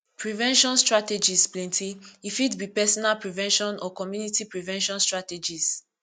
prevention strategies plenty e fit be personal prevention or community prevention strategies